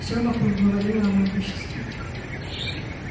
всё вокруг говорило о могуществе